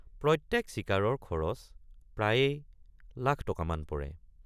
প্ৰত্যেক চিকাৰৰ খৰচ প্ৰায়েই লাখ টকামান পৰে।